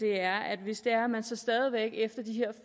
er at hvis det er sådan at man stadig væk efter de her